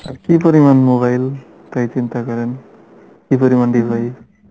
আর কি পরিমান mobile তাই চিন্তা করেন কি পরিমান device